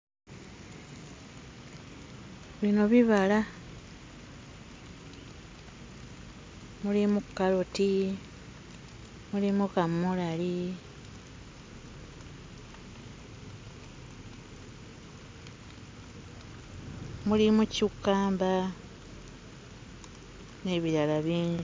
Bino bibala. Mulimu kkaloti, mulimu kaamulali, mulimu ccukkamba n'ebirala bingi.